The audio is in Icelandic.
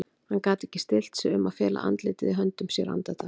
Hann gat ekki stillt sig um að fela andlitið í höndum sér andartak.